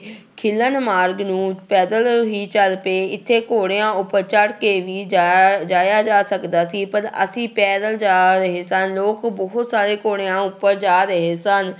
ਖਿਲਨ ਮਾਰਗ ਨੂੰ ਪੈਦਲ ਹੀ ਚੱਲ ਪਏ, ਇੱਥੇ ਘੋੜਿਆਂ ਉੱਪਰ ਚੜ੍ਹ ਕੇ ਵੀ ਜਾਇਆ ਜਾਇਆ ਜਾ ਸਕਦਾ ਸੀ, ਪਰ ਅਸੀਂ ਪੈਦਲ ਜਾ ਰਹੇ ਸਨ, ਲੋਕ ਬਹੁਤ ਸਾਰੇ ਘੋੜਿਆਂ ਉੱਪਰ ਜਾ ਰਹੇ ਸਨ।